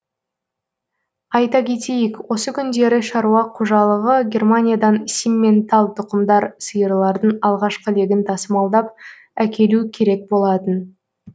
айта кетейік осы күндері шаруа қожалығы германиядан симментал тұқымдар сиырлардың алғашқы легін тасымалдап әкелу керек болатын